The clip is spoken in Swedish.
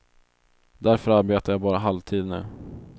Därför arbetar jag bara halvtid nu.